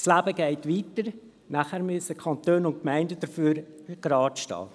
Das Leben geht weiter, und später müssen die Kantone und Gemeinden dafür geradestehen.